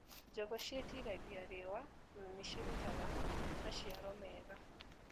Njũgũ cĩitiragia riũa na nĩcirutaga maciaro mega.